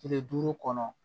Tile duuru kɔnɔ